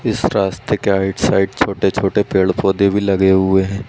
इस रास्ते के राइट साइड छोटे - छोटे पेड़ - पौधे भी लगे हुए हैं।